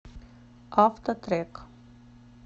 автотрек